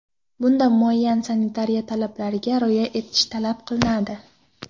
Bunda muayyan sanitariya talablariga rioya etish talab qilinadi.